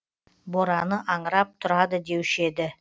бораны аңырап тұрады деуші еді